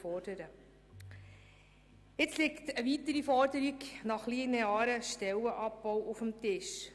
Nun liegt eine weitere Forderung nach einem linearen Stellenabbau auf dem Tisch.